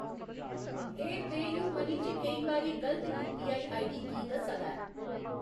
एह्‌‌ पेऽयूमनी च केईं बारी गलत यूपीआई आईडी की दस्सा दा ऐ?